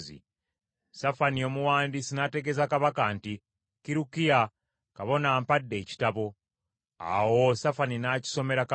Safani omuwandiisi n’ategeeza kabaka nti, “Kirukiya kabona ampadde ekitabo.” Awo Safani n’akisomera kabaka.